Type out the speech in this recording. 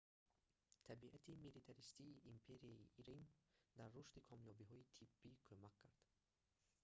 табиати милитаристии империяи рим дар рушди комёбиҳои тиббӣ кумак кард